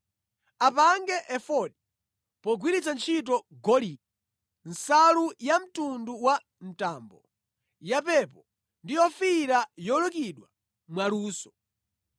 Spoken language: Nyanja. “Apange efodi pogwiritsa ntchito golide, nsalu yamtundu wa mtambo, yapepo ndi yofiira yolukidwa mwaluso.